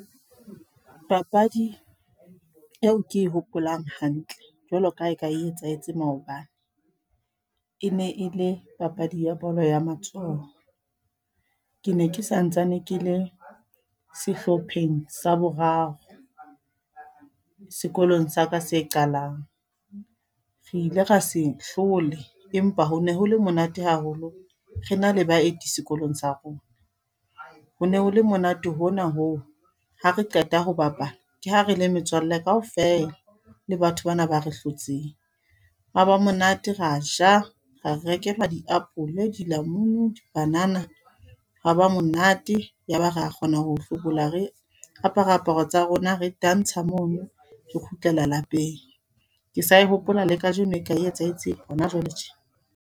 Papadi eo ke e hopolang hantle, jwalo ka ha e ka e etsahetseng maobane. E ne e le papadi ya bolo ya matsoho. Ke ne ke santsane ke le sehlopheng sa boraro, sekolong sa ka se qalang. Re ile ra se hlole. Empa ho ne hole monate haholo, re na le baeti sekolong sa rona. Ho ne ho le monate hona hoo, ha re qeta ho bapala. Ke ha re le metswalle kaofela, le batho bana ba re hlotseng. Ha ba monate ra ja. Ra rekelwa re diapole, dilamunu, di-banana. Ha ba monate, ya ba ra kgona ho hlobola re apare aparo tsa rona re tantsha mono, re kgutlela lapeng. Ke sa e hopola le kajeno e ka e etsahetseng hona jwale tje.